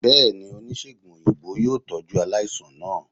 bẹẹni, onisegùn oyinbo yoo tọju alaisan naa.